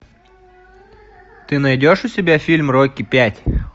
ты найдешь у себя фильм рокки пять